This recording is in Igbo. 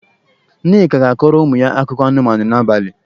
Nneka ga-akọrọ ụmụ ya akụkọ anụmanụ n'abalị.